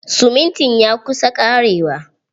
Siminti ya kusa ƙarewa.